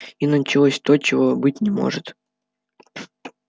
и началось то чего быть не может